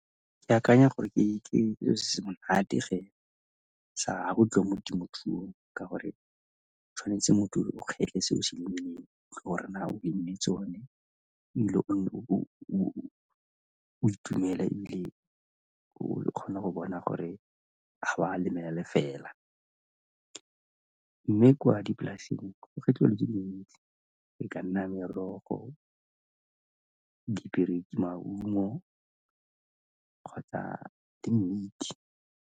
Ke akanya gore ke selo se se monate se tswa mo temothuong ka gore tshwanetse motho o kgetlhe se o se lemileng gore na o dirile tsone ebile o bo o itumela ebile o kgona go bona gore ga o a lemela lefela mme kwa dipolaseng e ka nna merogo, , maungo kgotsa di dintsi.